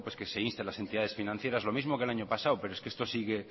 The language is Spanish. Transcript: que se inste a las entidades financieras lo mismo que el año pasado pero es que esto